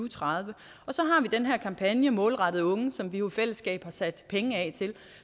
tredive så har vi den her kampagne målrettet unge som vi jo i fællesskab har sat penge af til